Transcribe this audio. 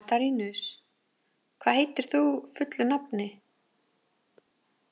Katarínus, hvað heitir þú fullu nafni?